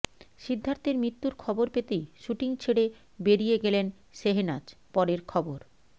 সিদ্ধার্থের মৃত্যুর খবর পেতেই শ্যুটিং ছেড়ে বেরিয়ে গেলেন শেহনাজ পরের খবর